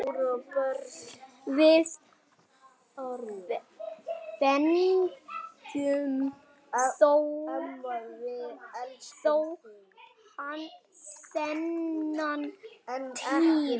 Við fengum þó þennan tíma.